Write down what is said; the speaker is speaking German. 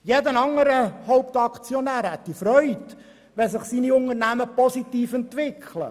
Jeder andere Hauptaktionär wäre erfreut, wenn sich seine Unternehmung positiv entwickelt.